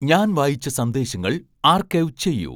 ഞാൻ വായിച്ച സന്ദേശങ്ങൾ ആർക്കൈവ് ചെയ്യൂ